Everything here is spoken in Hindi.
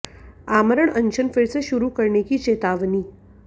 आमरण अनशन फिर से शुरू करने की चेतावनी